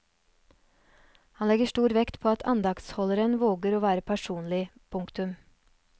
Han legger stor vekt på at andaktsholderen våger å være personlig. punktum